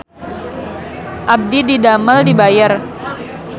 Abdi didamel di Bayer